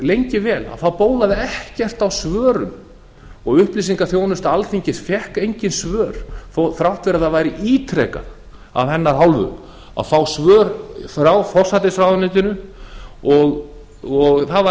lengi vel bólaði ekkert á svörum upplýsingaþjónusta alþingis fékk engin svör þrátt fyrir að það væri ítrekað af hennar hálfu að fá svör frá forsætisráðuneytinu það var